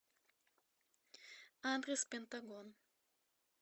адрес пентагон